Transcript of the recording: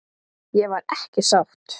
Ég var ekki sátt.